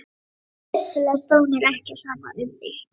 Vissulega stóð mér ekki á sama um þig.